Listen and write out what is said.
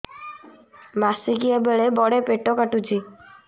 ମାସିକିଆ ବେଳେ ବଡେ ପେଟ କାଟୁଚି